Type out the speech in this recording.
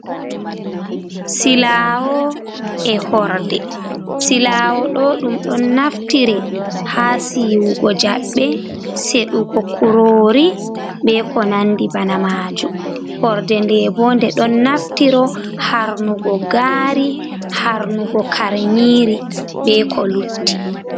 Silawo e H orde. Silowo ɗo ɗum ɗon naftire ha siwugo jaɓaɓe seɗugo kurori be ko nandi bana majum. Horde nde bo nde ɗon naftiro harnugo gari harnugo karnyiri be ko lutti.